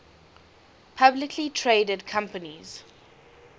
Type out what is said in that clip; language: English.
publicly traded companies